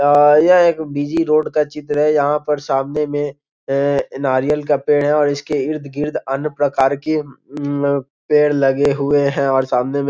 अअ यह एक busy road का चित्र है | यहाँ पर सामने में नारियल का पेड़ हैं और इसके इर्द गिर्द अन्य प्रकार के अमअअ पेड़ लगे हुए हैं और सामने में --